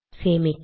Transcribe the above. சேமிக்க